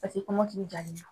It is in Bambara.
Paseke kɔmɔkili jalen don.